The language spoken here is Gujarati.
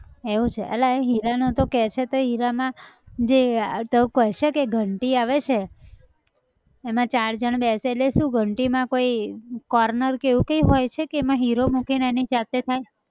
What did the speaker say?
એવું છે, અલા એ હીરા નું તું કેય છે તે હીરામાં જે આહ તું કહે છે કે ઘંટી આ વે છે એમાં ચાર જન બેસે એટલે શું ઘંટી માં કોઈ corner કે એવું કઈ હોય છે કે એમાં હીરો મૂકીન એની જાતે થાય